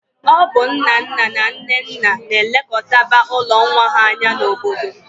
Ọ bụ nnanna na nnenna na-elekọtaba ụlọ nwa ha anya n'obodo